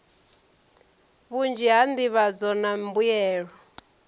vhunzhi ha nḓivhadzo na mbuyelo